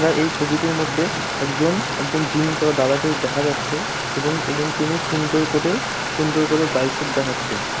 আমরা এই ছবিটির মধ্যে একজন একজন জিম করা দাদাকে দেখা যাচ্ছে এবং এবং তিনি সুন্দর করে সুন্দর করে বাইসেপ দেখাচ্ছেন ।